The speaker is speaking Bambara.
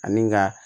Ani nka